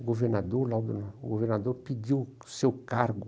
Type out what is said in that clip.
O governador Laudo, o governador pediu o seu cargo.